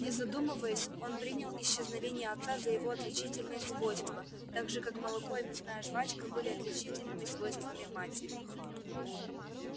не задумываясь он принял исчезновение отца за его отличительное свойство так же как молоко и мясная жвачка были отличительными свойствами матери